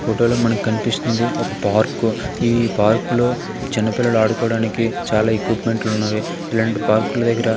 ఫోటోలో మనకు కనిపిస్తుంది ఒక పార్కు ఈ పార్క్లో చిన్న పిల్లలు ఆడుకోవడానికి చాలా ఎక్విప్మెంట్లున్నవి ఇలాంటి పార్క్లు దగ్గర --